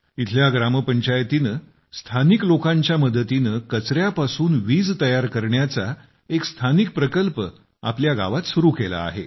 इथल्या ग्रामपंचायतीने स्थानिक लोकांच्या मदतीने कचऱ्यापासून वीज तयार करण्याचा एक स्थानिक प्रकल्प आपल्या गावात सुरू केला आहे